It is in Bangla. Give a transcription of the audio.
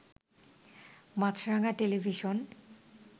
মাছরাঙা টেলিভিশন